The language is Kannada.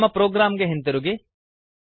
ನಮ್ಮ ಪ್ರೊಗ್ರಾಮ್ ಗೆ ಹಿಂದಿರುಗಿ